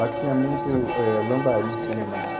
Lá tinha muito eh lambari, tinha demais.